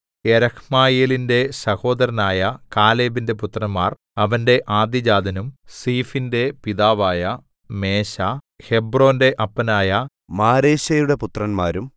യെരഹ്മയേലിന്റെ സഹോദരനായ കാലേബിന്റെ പുത്രന്മാർ അവന്റെ ആദ്യജാതനും സീഫിന്റെ പിതാവായ മേശാ ഹെബ്രോന്റെ അപ്പനായ മാരേശയുടെ പുത്രന്മാരും